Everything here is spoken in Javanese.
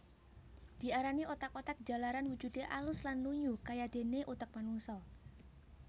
Diarani otak otak jalaran wujude alus lan lunyu kayadene utek manungsa